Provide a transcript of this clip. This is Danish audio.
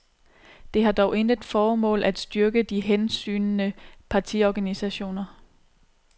Det har dog intet formål at styrke de hensygnende partiorganisationer.